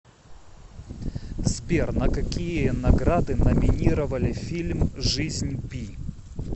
сбер на какие награды номинировали фильм жизнь пи